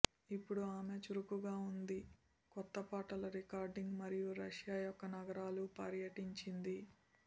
ఇప్పుడు ఆమె చురుకుగా ఉంది కొత్త పాటలు రికార్డింగ్ మరియు రష్యా యొక్క నగరాలు పర్యటించింది